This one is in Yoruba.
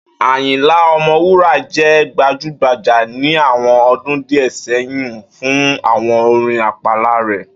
Àyìnlá O̩mo̩wúrà jé̩ gbajúgbajà ní àwo̩n o̩dún díè̩ sé̩yìn fún àwo̩n orin àpàla rè̩